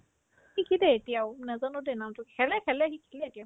সি খেলে এতিয়াও নাজানো দেই নামটো কি খেলে খেলে সি খেলে এতিয়াও